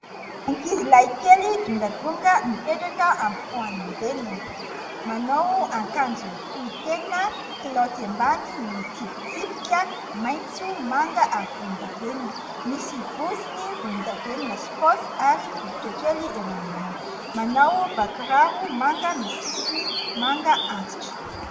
Ankizilahy kely dongadonga mipetraka ampofoan'i Reniny : manao akanjo tohitena, kilaoty ambany mitsipitsipika maitso, manga ary volondavenona, misy vozony volondavenona sy paosy ary bokotra kely eo anoloana, manao bà-kiraro manga misy sisiny manga antitra.